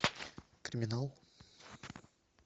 криминал